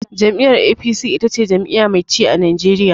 Jam'iyyar APC ita ce jam'iyya mai ci a Najeriya.